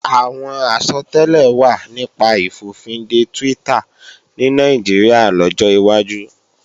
Àwọn àsọtẹ́lẹ̀ wà nípa ìfòfinde Twitter ní Nàìjíríà lọ́jọ́ wájú